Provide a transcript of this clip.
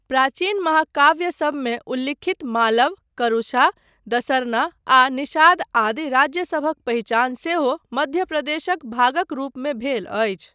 प्राचीन महाकाव्यसबमे उल्लिखित मालव, करूषा, दसरना आ निषाद आदि राज्यसभक पहिचान सेहो मध्य प्रदेशक भागक रूपमे भेल अछि।